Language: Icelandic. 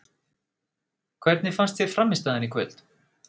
Hvernig fannst þér frammistaðan í kvöld?